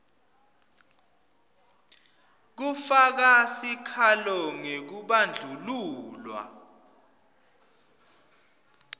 kufaka sikhalo ngekubandlululwa